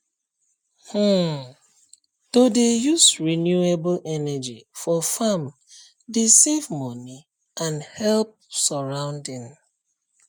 um to dey use renewable energy for farm dey save money and help surrounding